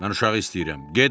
Mən uşağı istəyirəm.